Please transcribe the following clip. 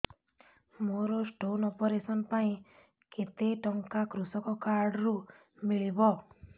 ମୋର stone operation ପାଇଁ କେତେ ଟଙ୍କା କୃଷକ କାର୍ଡ ରୁ ମିଳିବ